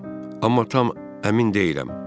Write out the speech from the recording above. Amma tam əmin deyiləm.